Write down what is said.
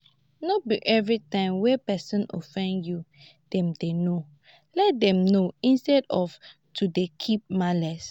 no be everytime wey person offend you dem dey know let them know instead of to dey keep malice